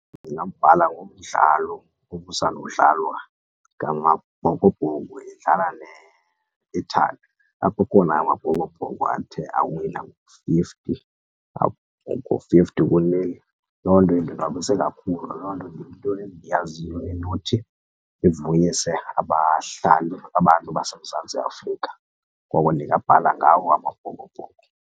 Ndingabhala ngomdlalo obusandukudlalwa ngaMabhokobhoko edlala neItaly. Apho khona aMabhokobhoko athe awina ngo-fifty ku-nil. Loo nto indonwabise kakhulu, loo nto yinto endiyaziyo enothi ivuyise abahlali abantu baseMzantsi Afrika koko ndingabhala ngawo aMabhokobhoko.